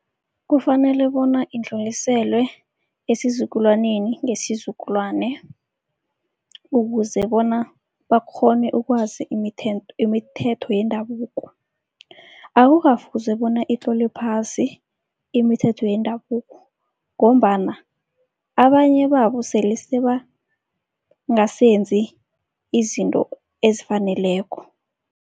Kufanele bona indluliselwe esizukulwaneni ngesizukulwane, ukuze bona bakghone ukwazi imithetho yendabuko. Akukafuzi bona itlolwe phasi imithetho yendabuko ngombana abanye babo sele sebangasenzi izinto ezifaneleko.